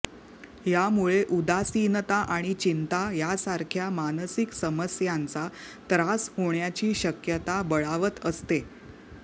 यामुळे उदासीनता आणि चिंता यांसारख्या मानसिक समस्यांचा त्रास होण्याची शक्यता बळावत असते